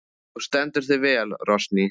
Þú stendur þig vel, Rósný!